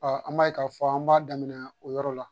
an b'a ye k'a fɔ an b'a daminɛ o yɔrɔ la